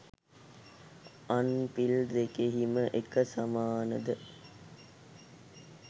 අං පිල් දෙකෙහිම එක සමානද